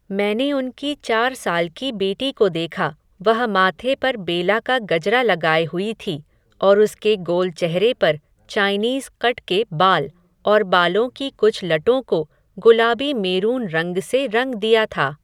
मैंने उनकी चार साल की बेटी को देखा, वह माथे पर बेला का गजरा लगाये हुए थी, और उसके गोल चेहरे पर, चाइनीज़ क़ट के बाल, और बालों की कुछ लटों को, गुलाबी मेरून रंग से रंग दिया था